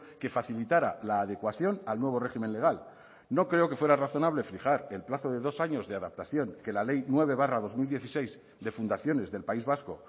que facilitara la adecuación al nuevo régimen legal no creo que fuera razonable fijar el plazo de dos años de adaptación que la ley nueve barra dos mil dieciséis de fundaciones del país vasco